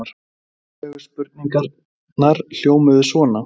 Upprunalegu spurningarnar hljómuðu svona: